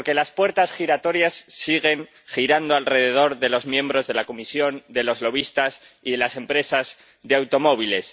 Porque las puertas giratorias siguen girando alrededor de los miembros de la Comisión, de los lobistas y de las empresas de automóviles.